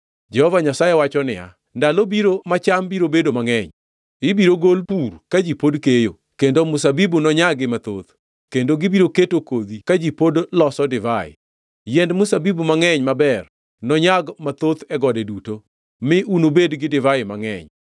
Jehova Nyasaye wacho niya, “Ndalo biro ma cham biro bedo mangʼeny, ibiro golo pur ka ji pod keyo, kendo mzabibu nonyagi mathoth, kendo gibiro keto kodhi ka ji pod loso divai. Yiend mzabibu mangʼeny maber nonyag mathoth e gode duto mi unubed gi divai mangʼeny.